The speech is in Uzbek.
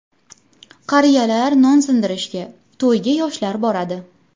Qariyalar non sindirishga, to‘yga yoshlar boradi.